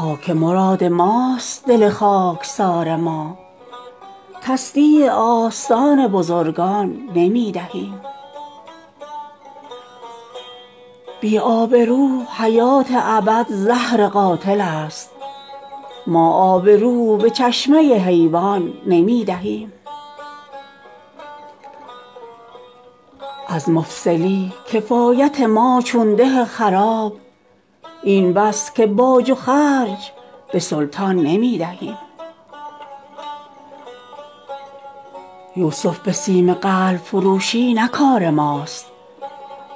بی آبرو حیات ابد زهر قاتل است ما آبرو به چشمه حیوان نمی دهیم هر چند دست ما چو حباب از گهر تهی است ما این صدف به گوهر غلطان نمی دهیم از مفلسی کفایت ما چون ده خراب این بس که باج و خرج به سلطان نمی دهیم عریان تنی است جامه احرام شوق ما دامن به دست خار مغیلان نمی دهیم یوسف به سیم قلب فروشی نه کار ماست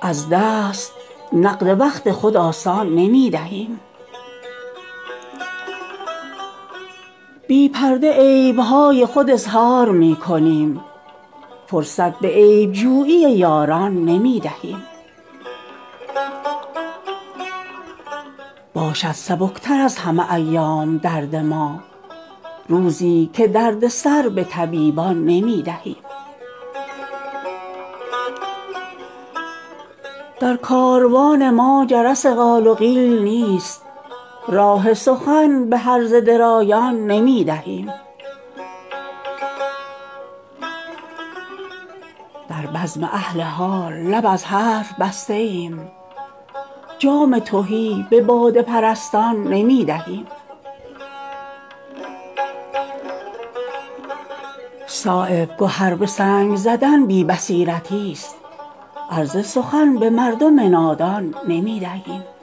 از دست نقد وقت خود آسان نمی دهیم باشد سبکتر از همه ایام درد ما روزی که درد سر به طبیبان نمی دهیم بی پرده عیبهای خود اظهار می کنیم فرصت به عیبجویی یاران نمی دهیم جزو تن گداخته ما نمی شود از رزق خویش هر چه به مهمان نمی دهیم در کاروان ما جرس قال و قیل نیست راه سخن به هرزه درایان نمی دهیم در بزم اهل حال لب از حرف بسته ایم جام تهی به باده پرستان نمی دهیم صایب گهر به سنگ زدن بی بصیرتی است عرض سخن به مردم نادان نمی دهیم ما کنج دل به روضه رضوان نمی دهیم این گوشه را به ملک سلیمان نمی دهیم خاک مراد ماست دل خاکسار ما تصدیع آستان بزرگان نمی دهیم